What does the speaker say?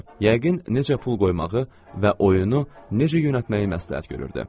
Yəqin necə pul qoymağı və oyunu necə yönəltməyi məsləhət görürdü.